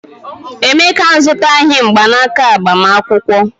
Emeka azụtaghị mgbanaka agbamakwụkwọ.